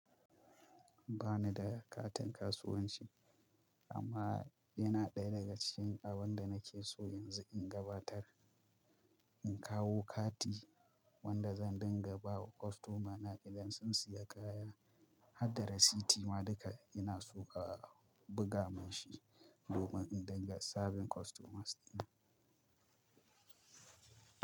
Ba ni da katin kasuwanci amma yana ɗaya daga cikin abin da nake so yanzu in gabatar. In kawo kati wanda zan dinga ba wa kostomana idan sun siya kaya, hadda rasiti ma duka ina so ka buga min shi domin in dinga sabin kostomas ɗina.